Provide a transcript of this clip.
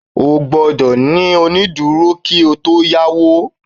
O gbọ́dọ̀ ní onídúró kí o yá owó